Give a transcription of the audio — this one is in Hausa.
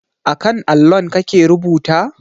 A kan allon kake rubuta?